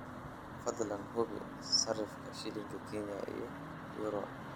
fadlan hubi sarifka shilinka kenya iyo euro